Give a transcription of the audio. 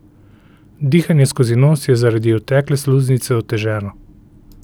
Dihanje skozi nos je zaradi otekle sluznice oteženo.